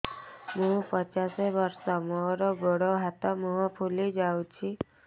ମୁ ପଚାଶ ବର୍ଷ ମୋର ଗୋଡ ହାତ ମୁହଁ ଫୁଲି ଯାଉଛି